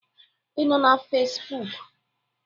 Ị nọ na Fesbuk?